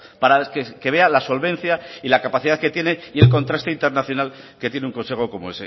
para que vea la solvencia y la capacidad que tiene y el contraste internacional que tiene un consejo como